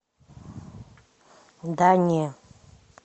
да не